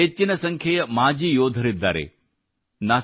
ಇವರಲ್ಲಿ ಹೆಚ್ಚಿನ ಸಂಖ್ಯೆಯ ಮಾಜಿ ಯೋಧರಿದ್ದಾರೆ